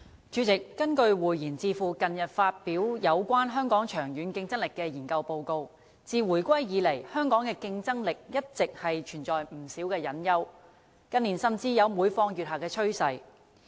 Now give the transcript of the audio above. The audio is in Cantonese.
主席，根據匯賢智庫近日發表有關香港長遠競爭力的研究報告，自回歸以來，香港的競爭力一直存在不少隱憂，近年甚至有每況愈下的趨勢。